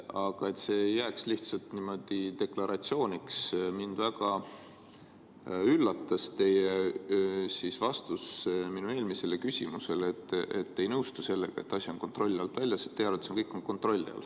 Aga et see ei jääks lihtsalt niimoodi deklaratsiooniks, siis ütlen, et mind väga üllatas teie vastus minu eelmisele küsimusele, et te ei nõustu sellega, nagu asi oleks kontrolli alt väljas, teie arvates kõik on kontrolli all.